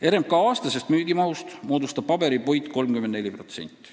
RMK aastasest müügimahust moodustab paberipuit 34%.